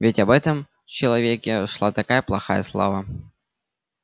ведь об этом человеке шла такая плохая слава